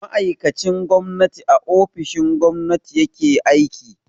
Ma'aikacin gwamnati a ofishin gwamnati ya ke aiki.